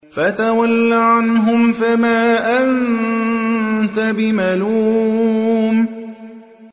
فَتَوَلَّ عَنْهُمْ فَمَا أَنتَ بِمَلُومٍ